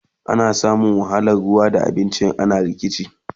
ana samun wahalan ruwa da abinci idan ana rikici